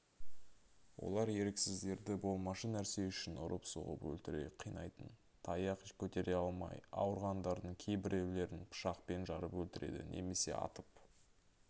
олар еріксіздерді болмашы нәрсе үшін ұрып-соғып өлтіре қинайтын таяқ көтере алмай ауырғандардың кейбіреулерін пышақпен жарып өлтіреді немесе атып